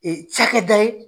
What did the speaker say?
Ee ca kɛ da ye